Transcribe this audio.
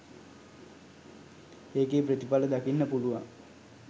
ඒකෙ ප්‍රතිඵල දකින්න පුළුවන්.